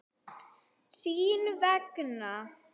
Sín vegna.